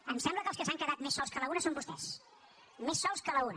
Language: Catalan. em sembla que els que s’han quedat més sols que la una són vostès més sols que la una